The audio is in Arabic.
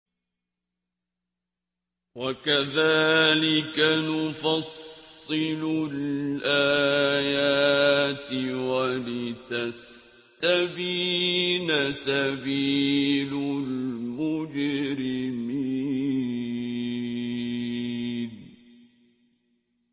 وَكَذَٰلِكَ نُفَصِّلُ الْآيَاتِ وَلِتَسْتَبِينَ سَبِيلُ الْمُجْرِمِينَ